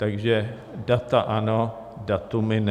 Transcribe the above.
Takže data ano, datumy ne.